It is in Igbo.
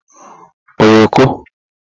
oyoko